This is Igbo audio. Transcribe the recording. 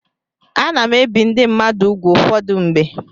Ana m ebi ndị mmadụ úgwù ụfọdụ mgbe.